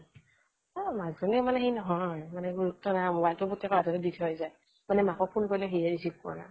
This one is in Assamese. এ মাক জনীৰ মানে গুৰুত্ব নাই মানে মোবাইলটো পুতেকৰ হাতত দি থৈ যায় মানে মাকক phone কৰিলে সি হে recieve কৰে